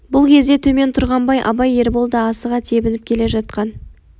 бұл кезде төмен тұрғанбай абай ербол да асыға тебініп келе жатқан